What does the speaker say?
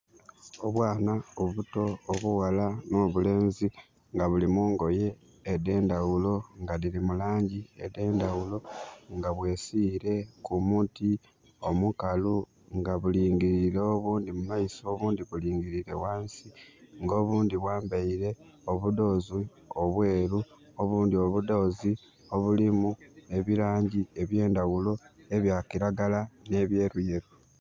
Obwana obuto obughala no bulenzi nga bulimungoye ede ndawulo nga diri mulangi ede ndawulo nga bwesiire ku muti omukalu nga bulingirire obundi mu maiso obundi bulingirire wansi nga obundi bwambaire obudoozi obweru, obundi obudoozi obulimu ebirangi ebye ndawulo ebya kiragala ne byeruyeru